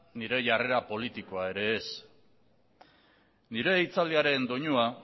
nire jarrera politikoa ere ez nire hitzaldiaren doinua